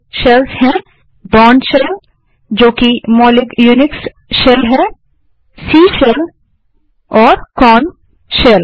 दूसरे शेल्स हैं Bourne shell जो कि मौलिक यूनिक्स शेल है सी शेल और कोर्न शेल